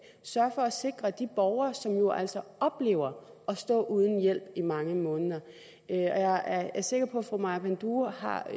sørge for at sikre de borgere som jo altså oplever at stå uden hjælp i mange måneder jeg er er sikker på at fru maja panduro har